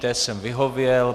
Té jsem vyhověl.